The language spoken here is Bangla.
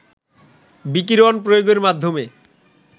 বিকিরণ প্রয়োগের মাধ্যমে